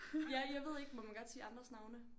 Ja jeg ved ikke må man godt sige andres navne?